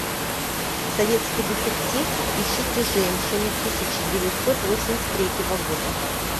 советский детектив ищите женщину тысяча девятьсот восемьдесят третьего года